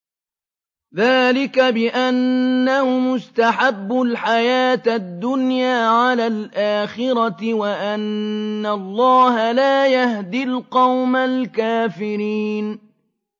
ذَٰلِكَ بِأَنَّهُمُ اسْتَحَبُّوا الْحَيَاةَ الدُّنْيَا عَلَى الْآخِرَةِ وَأَنَّ اللَّهَ لَا يَهْدِي الْقَوْمَ الْكَافِرِينَ